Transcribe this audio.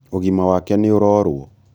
ũgima wake nĩũrorwo